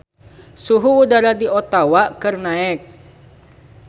Suhu udara di Ottawa keur naek